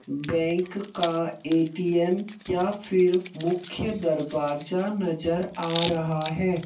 Bank का ATM या फिर मुख्य दरवाजा नजर आ रहा है।